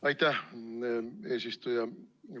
Aitäh, eesistuja!